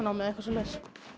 leiklistanám eða eitthvað svoleiðis